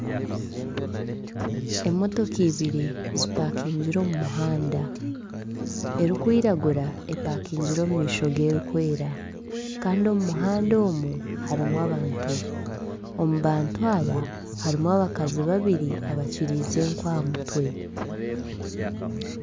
Emotoka ibiri zipakingire omu muhanda. Erikwiragura epakingire omu maisho g'erikwera hikandi omu muhanda omu, harimu abantu. Omu bantu aba harimu abakazi babiri bakiriize enku aha mutwe.